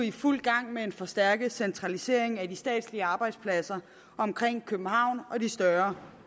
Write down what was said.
i fuld gang med en forstærket centralisering af de statslige arbejdspladser omkring københavn og de større